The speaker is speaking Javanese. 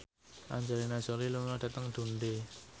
Angelina Jolie lunga dhateng Dundee